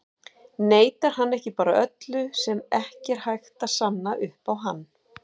Neitar hann ekki bara öllu sem ekki er hægt að sanna upp á hann?